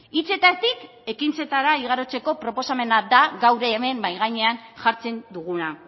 hitzetatik ekintzetara igarotzeko proposamena da gaur hemen mahai gainean jartzen duguna